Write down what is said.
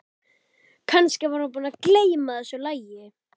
Kannski var hún búin að gleyma þessu lagi.